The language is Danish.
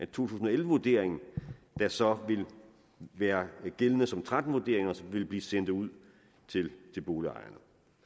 tusind og elleve vurderingen der så vil være gældende som tretten vurdering og som vil blive sendt ud til boligejerne